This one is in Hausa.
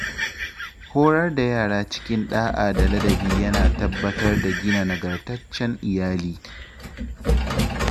Horar da yara cikin ɗa’a da ladabi yana tabbatar da gina nagartaccen iyali.